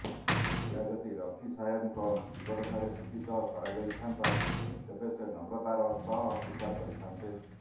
ଏହା ଯଦି ରଫି ସାହେବଙ୍କ ଜୀବଦ୍ଦଶାରେ ସୂଚିତ କରାଯାଇଥାନ୍ତା ତେବେ ସେ ନମ୍ରତାର ସହ ସ୍ବୀକାର କରିଥାନ୍ତେ